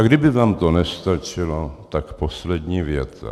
A kdyby tam to nestačilo, tak poslední věta.